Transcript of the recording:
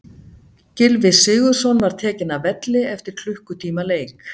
Gylfi Sigurðsson var tekinn af velli eftir klukkutíma leik.